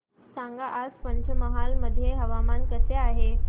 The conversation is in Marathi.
सांगा आज पंचमहाल मध्ये हवामान कसे आहे